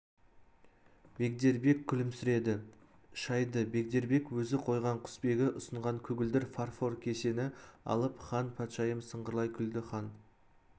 бегдербек күлімсіреді шайды бегдербек өзі құйған құсбегі ұсынған көгілдір фарфор кесені алып хан патшайым сыңғырлай күлді хан